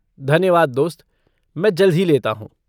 धन्यवाद दोस्त, मैं जल्द ही लेता हूँ।